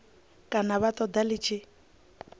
kana vha ṱoḓa ḽi tshi